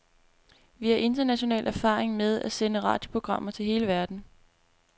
Vi har international erfaring med at sende radioprogrammer til hele verden.